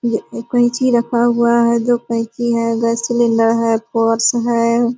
कैंची रखा हुआ है जो कैंची है गैस सिलिंडर है पोर्स है।